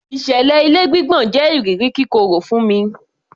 Ìṣẹ̀lẹ̀ ilé gbígbọ̀n jẹ iriri kíkorò fún mi